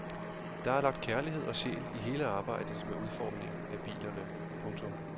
Der er lagt kærlighed og sjæl i hele arbejdet med udformningen af bilerne. punktum